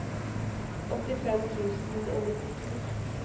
åttifem tusen og nittito